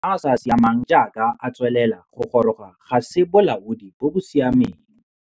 Go tsibogela maemo a a sa siameng jaaka a tswelela go goroga ga se bolaodi bo bo siameng.